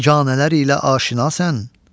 biganələr ilə aşinasən.